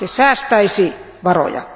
Se säästäisi varoja.